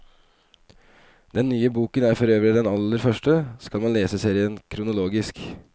Den nye boken er forøvrig den aller første, skal man lese serien kronologisk.